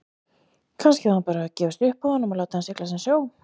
Kannski hafði hún bara gefist upp á honum og látið hann sigla sinn sjó.